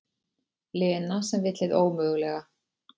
Lena sem vill hið ómögulega.